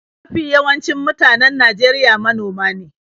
Mafi yawancin mutanen Najeriya manoma ne.